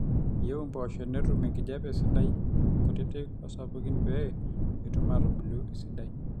eyieu impoosho netum enkijape sidai nkutitik osapukin pee etum aatubulu esidai